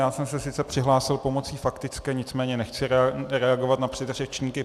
Já jsem se sice přihlásil pomocí faktické, nicméně nechci reagovat na předřečníky.